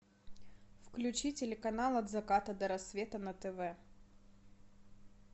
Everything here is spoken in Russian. включи телеканал от заката до рассвета на тв